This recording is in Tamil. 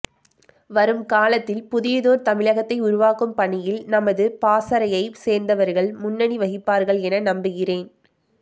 வரும் காலத்தில் புதியதோர் தமிழகத்தை உருவாக்கும் பணியில் நமது பாசறையை சேர்ந்தவர்கள் முன்னணி வகிப்பார்கள் என நம்புகிறேன்